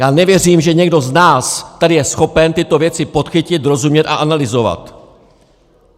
Já nevěřím, že někdo z nás tady je schopen tyto věci podchytit, rozumět a analyzovat.